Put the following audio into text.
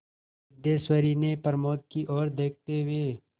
सिद्धेश्वरी ने प्रमोद की ओर देखते हुए